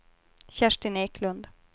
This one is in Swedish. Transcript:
Kerstin Eklund